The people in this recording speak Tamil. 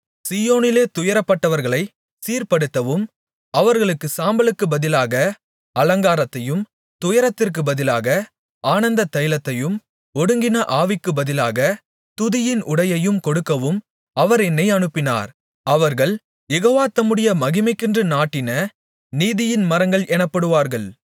சீயோனிலே துயரப்பட்டவர்களைச் சீர்ப்படுத்தவும் அவர்களுக்குச் சாம்பலுக்குப் பதிலாக அலங்காரத்தையும் துயரத்திற்குப் பதிலாக ஆனந்த தைலத்தையும் ஒடுங்கின ஆவிக்குப் பதிலாகத் துதியின் உடையையும் கொடுக்கவும் அவர் என்னை அனுப்பினார் அவர்கள் யெகோவா தம்முடைய மகிமைக்கென்று நாட்டின நீதியின் மரங்கள் எனப்படுவார்கள்